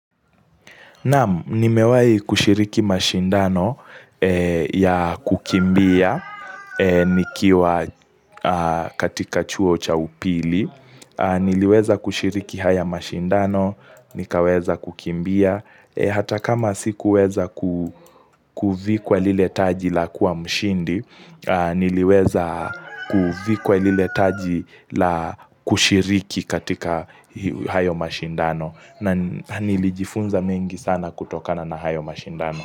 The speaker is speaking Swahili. Naam, nimewahi kushiriki mashindano ya kukimbia, nikiwa katika chuo cha upili. Niliweza kushiriki haya mashindano, nikaweza kukimbia. Hata kama sikuweza kuvikwa lile taji la kuwa mshindi, niliweza kuvikwa lile taji la kushiriki katika hayo mashindano. Na nilijifunza mengi sana kutokana na hayo mashindano.